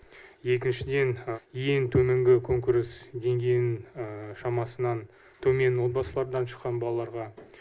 екіншіден ең төменгі күнкөріс деңгейінің шамасынан төмен отбасылардан шыққан балаларға